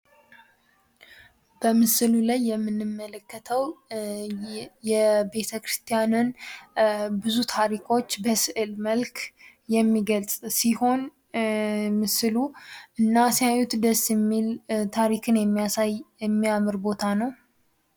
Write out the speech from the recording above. በምስሉ ላይ የምንመለከተው የቤተክርስቲያንን ብዙ ታሪኮች በስዕል መልክ የሚገልጽ ሲሆን ምስሉ እና ሲያዩት ደስ የሚል ታሪክን የሚያሳይ የሚያምር ቦታ ነው።